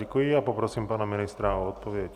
Děkuji a poprosím pana ministra o odpověď.